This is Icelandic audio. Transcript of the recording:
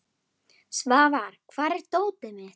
Svafar, hvar er dótið mitt?